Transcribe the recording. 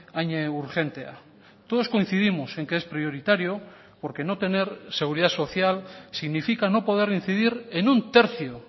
hain urgentea todos coincidimos en que es prioritario porque no tener seguridad social significa no poder incidir en un tercio